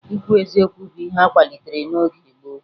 Ikwu eziokwu bụ ihe akwalitere n'oge gboo